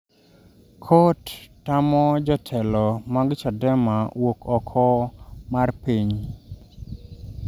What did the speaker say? Kot tamo jotelo mag Chadema wuok oko mar piny